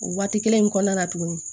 O waati kelen in kɔnɔna na tuguni